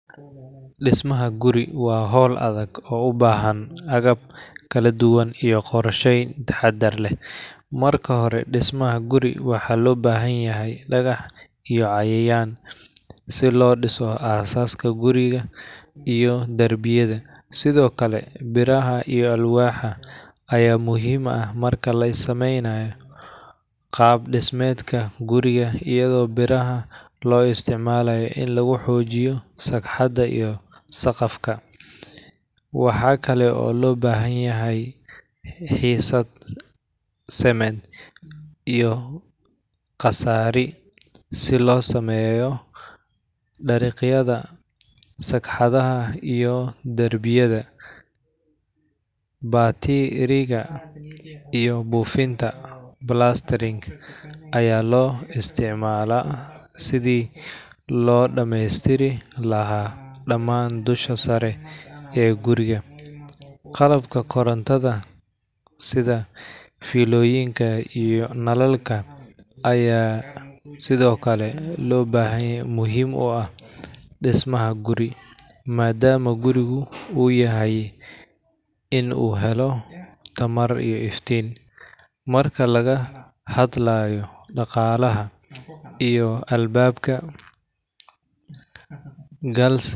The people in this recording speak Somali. Dhismaha guri waa hawl adag oo u baahan agab kala duwan iyo qorsheyn taxaddar leh. Marka hore, dhismaha guri waxa loo baahan yahay dhagax iyo cayayaan si loo dhiso aasaaska guriga iyo darbiyada. Sidoo kale, biraha iyo alwaaxa ayaa muhiim ah marka la sameynayo qaab-dhismeedka guriga, iyadoo biraha loo isticmalayo in lagu xoojiyo sagxadaha iyo saqafka. Waxaa kale oo loo baahan yahay xiisad cement iyo qasaari si loo sameeyo dariiqyada, sagxadaha iyo darbiyada. Batiiriga iyo buufinta plastering ayaa loo isticmaalaa sidii loo dhammaystiri lahaa dhammaan dusha sare ee gidaarka. Qalabka korontada sida fiilooyinka iyo nalalka ayaa sidoo kale muhiim u ah dhismaha guri, maadaama gurigu u baahan yahay in uu helo tamar iyo iftiin. Marka laga hadlayo daaqadaha iyo albaabbka, galsi.